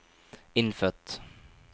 innfødt